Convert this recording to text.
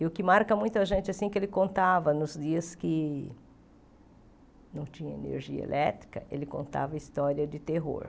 E o que marca muito a gente, assim, que ele contava nos dias que não tinha energia elétrica, ele contava história de terror.